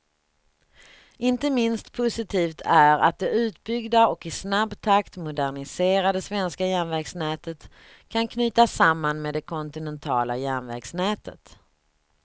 Inte minst positivt är att det utbyggda och i snabb takt moderniserade svenska järnvägsnätet kan knytas samman med det kontinentala järnvägsnätet.